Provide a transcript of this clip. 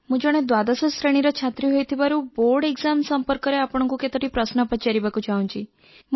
ମୁଁ ଜଣେ ଦ୍ୱାଦଶ ଶ୍ରେଣୀର ଛାତ୍ରୀ ହେଇଥିବାରୁ ବୋର୍ଡ଼ ପରୀକ୍ଷା ସଂପର୍କରେ ଆପଣଙ୍କୁ କେତୋଟି ପ୍ରଶ୍ନ ପଚାରିବାକୁ ଚାହୁଁଛି